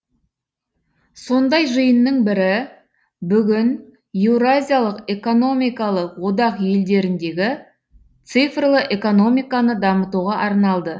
сондай жиынның бірі бүгін еуразиялық экономикалық одақ елдеріндегі цифрлы экономиканы дамытуға арналды